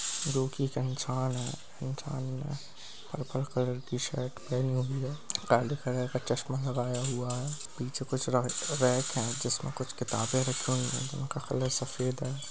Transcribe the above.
purple colour की shirt पहनी हुई है काले कलर का चश्मा लगाया हुआ है पीछे कुछ रै-रैक है जिसमे कुछ किताबे रखी हुई हैं जिनका कलर सफ़ेद है |